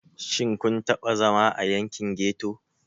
Shin kun taɓa zama a yankin ghetto?